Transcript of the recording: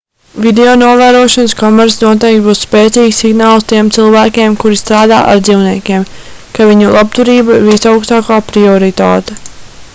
videonovērošanas kameras noteikti būs spēcīgs signāls tiem cilvēkiem kuri strādā ar dzīvniekiem ka viņu labturība ir visaugstākā prioritāte